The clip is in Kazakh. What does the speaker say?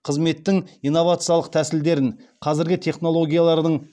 қызметтің инновациялық тәсілдерін қазіргі технологиялардың